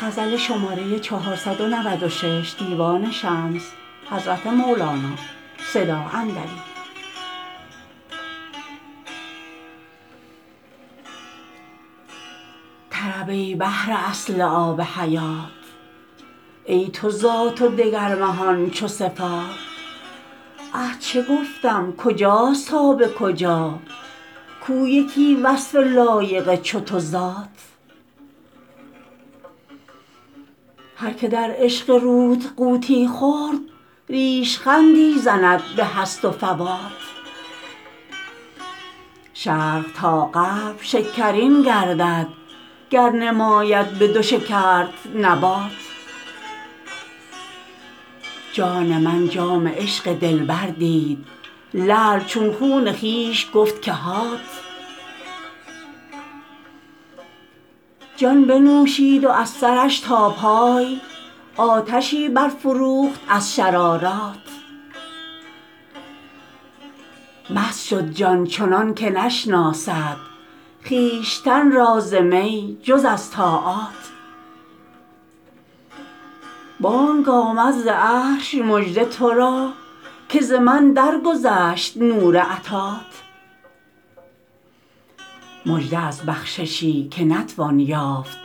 طرب ای بحر اصل آب حیات ای تو ذات و دگر مهان چو صفات اه چه گفتم کجاست تا به کجا کو یکی وصف لایق چو تو ذات هر که در عشق روت غوطی خورد ریش خندی زند به هست و فوات شرق تا غرب شکرین گردد گر نماید بدو شکرت نبات جان من جام عشق دلبر دید لعل چون خون خویش گفت که هات جان بنوشید و از سرش تا پای آتشی برفروخت از شررات مست شد جان چنان که نشناسد خویشتن را ز می جز از طاعات بانگ آمد ز عرش مژده تو را که ز من درگذشت نور عطات مژده از بخششی که نتوان یافت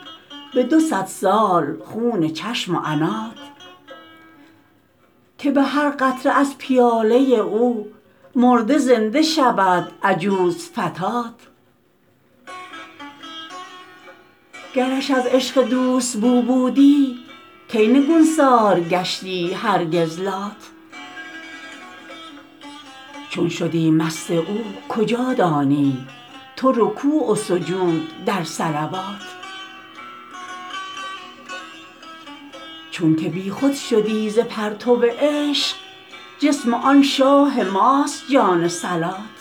به دو صد سال خون چشم و عنات که به هر قطره از پیاله او مرده زنده شود عجوز فتات گرش از عشق دوست بو بودی کی نگوسار گشتی هرگز لات چون شدی مست او کجا دانی تو رکوع و سجود در صلوات چونک بیخود شدی ز پرتو عشق جسم آن شاه ماست جان صلات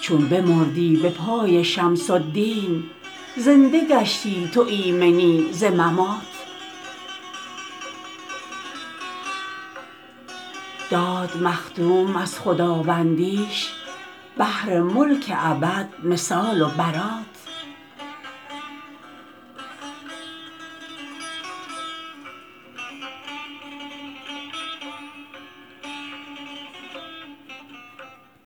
چو بمردی به پای شمس الدین زنده گشتی تو ایمنی ز ممات داد مخدوم از خداوندیش بهر ملک ابد مثال و برات